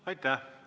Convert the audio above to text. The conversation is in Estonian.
Aitäh!